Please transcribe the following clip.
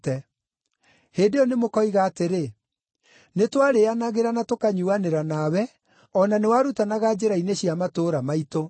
“Hĩndĩ ĩyo nĩmũkoiga atĩrĩ, ‘Nĩtwarĩĩanagĩra na tũkanyuuanĩra nawe, o na nĩwarutanaga njĩra-inĩ cia matũũra maitũ.’